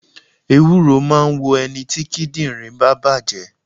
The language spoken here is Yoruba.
Ewúro máà ń wo ẹniti kíndìnrín bá bàjé